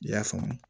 I y'a faamu